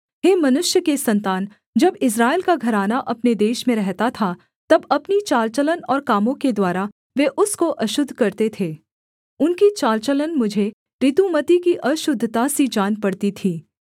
हे मनुष्य के सन्तान जब इस्राएल का घराना अपने देश में रहता था तब अपनी चाल चलन और कामों के द्वारा वे उसको अशुद्ध करते थे उनकी चाल चलन मुझे ऋतुमती की अशुद्धतासी जान पड़ती थी